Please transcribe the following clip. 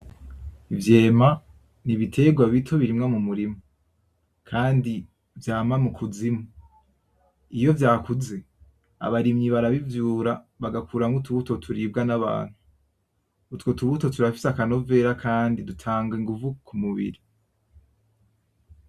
Ivyema ni ibiterwa bito birimwa m'umurima kandi vyama mukuzimu, iyo vyakuze abarimyi barabivyura bagakuramwo utubuto turibwa nabantu , utwo tubuto turafise akanovera kandi dutanga inguvu kumubiri .